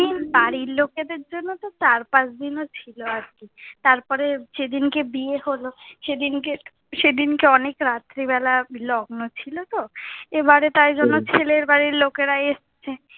বাড়ির লোকেদের জন্য তো চার পাঁচ দিনও ছিলো আরকি। তার পরে যে দিনকে বিয়ে হলো, সেদিন কে সেদিন কে অনেক রাত্রি বেলা লগ্ন ছিলো তো, এ বারে তাই জন্য ছেলের বাড়ির লোকেরা এসছে।